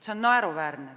See on naeruväärne.